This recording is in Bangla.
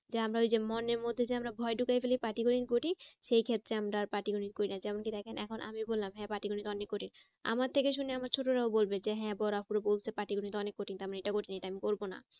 যে আমরা ওইযে মনের মধ্যে যে যে ভয় ঢুকাই ফেলই পাটিগণিত কঠিন সেই ক্ষেত্রে আমরা আর পাটিগনিত করি না। যেমন কি দেখেন এখন আমি বলাম হ্যাঁ পাটিগণিত অনেক কঠিন আমার থেকে শুনে আমার ছোটোরাও বলবে যে হ্যাঁ বড়ো আপুরা বলছে যে পাটিগণিত অনেক কঠিন। তা আমরা এটা করি এটা আমি করবো না।